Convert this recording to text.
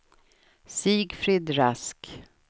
Sigfrid Rask